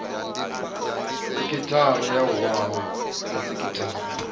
sekhithara na wua ya sekhithara